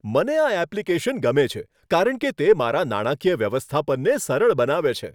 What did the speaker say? મને આ એપ્લિકેશન ગમે છે, કારણ કે તે મારા નાણાકીય વ્યવસ્થાપનને સરળ બનાવે છે.